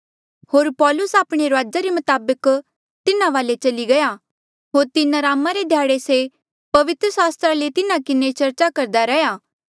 होर पौलुस आपणे रूआजा रे मताबक तिन्हा वाले चली गया होर तीन अरामा रे ध्याड़े से पवित्र सास्त्रा ले तिन्हा किन्हें चर्चा करदा रैंहयां